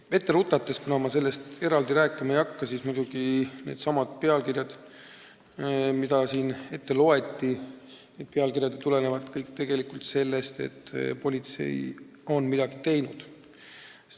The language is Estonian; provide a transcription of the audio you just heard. Ette rutates ütlen – ma sellest eraldi rääkima ei hakka –, et muidugi need pealkirjad, mis siin ette loeti, tulenevad kõik tegelikult sellest, et politsei on midagi teinud.